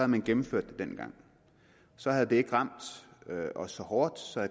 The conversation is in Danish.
man gennemført det dengang så havde det ikke ramt os så hårdt så